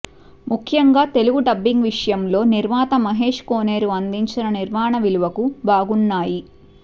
ముఖ్యంగా తెలుగు డబ్బింగ్ విషయంలో నిర్మాత మహేష్ కోనేరు అందించిన నిర్మాణ విలువకు బాగున్నాయి